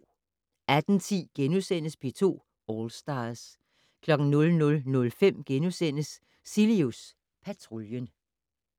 18:10: P2 All Stars * 00:05: Cilius Patruljen *